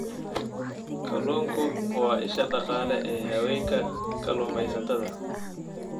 Kalluunku waa isha dhaqaale ee haweenka kalluumaysatada.